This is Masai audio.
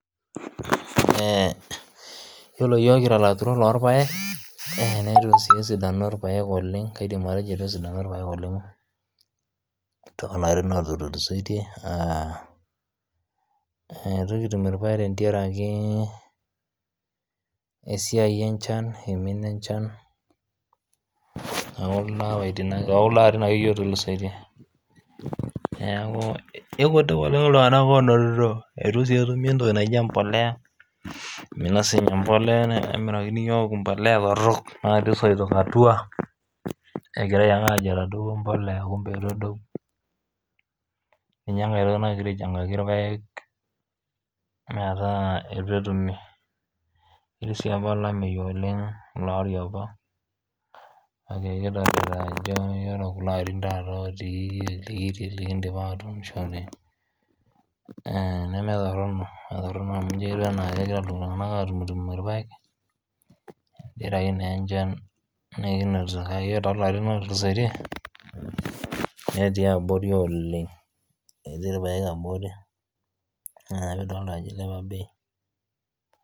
Iyolo yook kira laturok loo irpaek neitu sii esidanu irpaek oleng kaidim atejo eitu esidanu irpaek oleng too larin lootulisotie naa etu ktum irpaek tengaraki esiai enchan eimina enchan naaku too kuldo larin ake iyie lootulusotie neaku eitu sii etumi entoki naji embolea eimina sii ninye embolea nemirakini yook imbolea torrok natii soito atuaa negirai aake aajo etadouwa imbolea kumbe eitu edou ninye nkae toki nagira aivhangaki irpaek metaa etu etumi netii sii lameei oleng ilo lari apa nikidolita ajo ore kulo larin taata lotii likiindim atuunushore naa nemee torino, metorino amu enji etiu anaa ketii ltunganak atumtumo irpaek tengaraki naa enchan nikinotito kake ore too larrin lootulusotie netii abori ooleng etii irpaek abori naa kidol ajo eiliapa ebei.